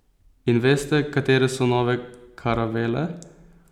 In veste, katere so nove karavele?